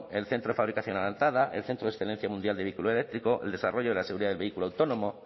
el centro de fabricación avanzada el centro de excelencia mundial de vehículo eléctrico el desarrollo de la seguridad de vehículo autónomo